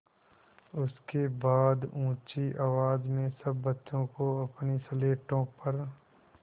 उसके बाद ऊँची आवाज़ में सब बच्चों को अपनी स्लेटों पर